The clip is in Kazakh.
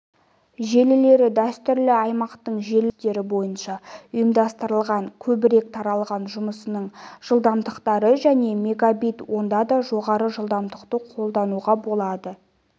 желілері дәстүрлі аймақтық желілер принциптері бойынша ұйымдастырылған көбірек таралған жұмысының жылдамдықтары және мегабит онда да жоғары жылдамдықты қолдануға болады